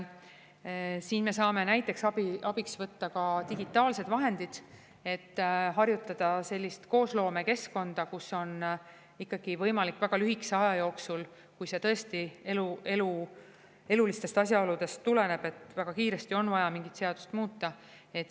Siin me saame abiks võtta ka digitaalsed vahendid, et harjutada sellist koosloomekeskkonda, kus on ikkagi vajalik väga lühikese aja jooksul, kui see tõesti elulistest asjaoludest tuleneb, väga kiiresti mingit seadust muuta.